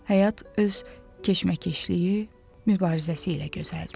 Həyat öz keçməkeşliyi, mübarizəsi ilə gözəldir.